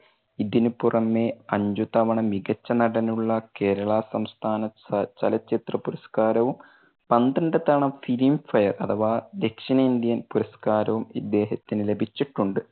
ഇതിനു പുറമെ അഞ്ചു തവണ മികച്ച നടനുള്ള കേരളാ സംസ്ഥാന അഹ് ചലച്ചിത്രപുരസ്കാരവും പന്ത്രണ്ടു തവണ filmfare അഥവാ ദക്ഷിണേന്ത്യൻ പുരസ്കാരവും ഇദ്ദേഹത്തിന് ലഭിച്ചിട്ടുണ്ട്.